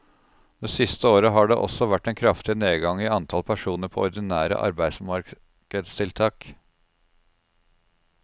Det siste året har det også vært en kraftig nedgang i antall personer på ordinære arbeidsmarkedstiltak.